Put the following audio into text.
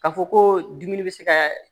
K'a fɔ ko dumuni bɛ se ka